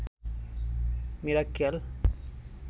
Mirakkel